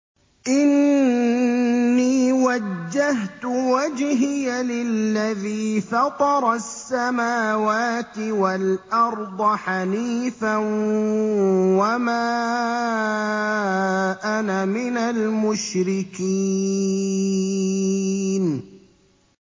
إِنِّي وَجَّهْتُ وَجْهِيَ لِلَّذِي فَطَرَ السَّمَاوَاتِ وَالْأَرْضَ حَنِيفًا ۖ وَمَا أَنَا مِنَ الْمُشْرِكِينَ